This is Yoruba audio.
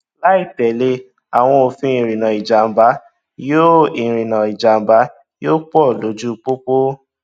láìtẹlé àwọn òfin ìrìnnà ìjàmbá yóò ìrìnnà ìjàmbá yóò pọ lójú pópó